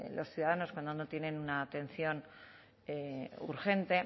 los ciudadanos cuando no tienen una atención urgente